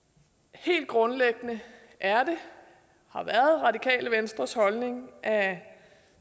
helt grundlæggende er det og har været radikale venstres holdning at